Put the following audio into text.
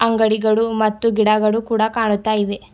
ಅಂಗಡಿಗಳು ಮತ್ತು ಗಿಡಗಳು ಕೂಡ ಕಾಣುತ್ತ ಇವೆ.